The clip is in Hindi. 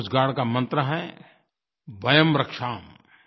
कोस्ट गार्ड का मंत्र है वयम् रक्षामः